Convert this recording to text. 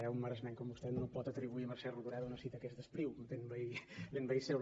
eh un maresmenc com vostè no pot atribuir a mercè rodoreda una cita que és d’espriu sent veí seu